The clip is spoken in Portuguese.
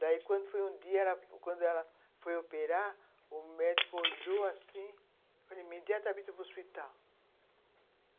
Daí, quando foi um dia, quando ela foi operar, o médico olhou assim e falou, imediatamente você vai para o hospital.